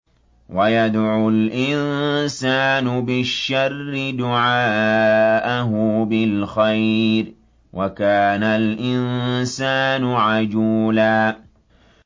وَيَدْعُ الْإِنسَانُ بِالشَّرِّ دُعَاءَهُ بِالْخَيْرِ ۖ وَكَانَ الْإِنسَانُ عَجُولًا